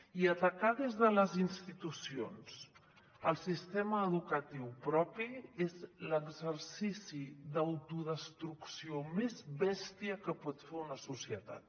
i atacar des de les institucions el sistema educatiu propi és l’exercici d’autodestrucció més bèstia que pot fer una societat